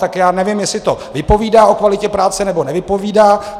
Tak já nevím, jestli to vypovídá o kvalitě práce, nebo nevypovídá.